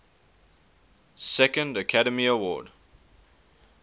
second academy award